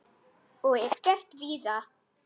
Og er gert víða.